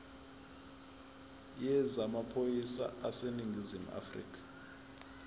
yezamaphoyisa aseningizimu afrika